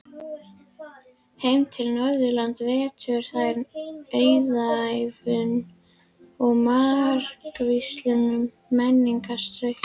Heim til Norðurlanda veittu þær auðæfum og margvíslegum menningarstraumum.